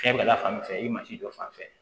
Fɛn bɛɛ la fan fɛ i masi dɔ fan fɛ